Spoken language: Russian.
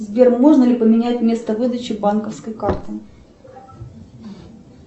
сбер можно ли поменять место выдачи банковской карты